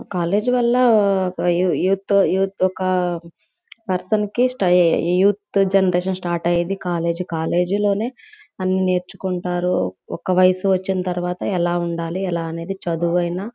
college వల్ల ఒక యూ యూత్యూ త్ ఒక పర్సన్ కి స్తై యూత్ జెనెరేషన్ స్టార్ట్ అయ్యేది కాలేజీ కాలేజి లోనే అన్ని నేర్చుకుంటారు ఒక వయసు వచ్చిన తరువాత ఎలా ఉండాలి ఎలా అనేది చదువైనా --